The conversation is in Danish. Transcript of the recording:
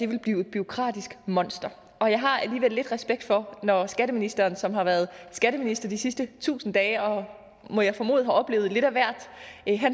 vil blive et bureaukratisk monster og jeg har alligevel lidt respekt for når skatteministeren som har været skatteminister de sidste tusind dage og må jeg formode har oplevet lidt af hvert